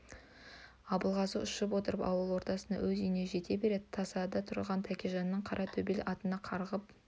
абылғазы ұшып отырып ауыл ортасындағы өз үйіне жете бере тасада тұрған тәкежанның қара төбел атына қарғып